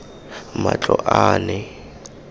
matloane